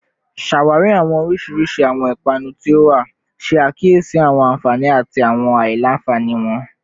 Ṣawari awọn oriṣiriṣi awọn ipanu ti o wa, ṣe akiyesi awọn anfani ati awọn alailanfani wọn